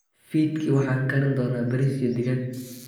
Fiidkii, waxaan karin doonaa bariis iyo digaag.